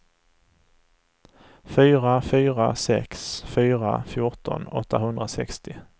fyra fyra sex fyra fjorton åttahundrasextio